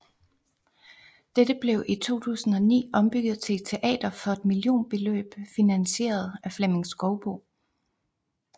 Dette blev i 2009 ombygget til teater for et millionbeløb finansieret af Flemming Skouboe